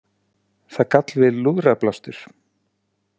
Það gall við lúðrablástur.